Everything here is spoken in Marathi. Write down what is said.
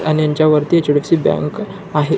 आणि ह्यांच्या वरती एक छोटीशी बँक आहे.